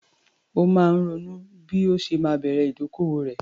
Ó máa ń ronú bí ó ṣe máa bẹ̀rẹ̀ ìdókòwò rẹ̀.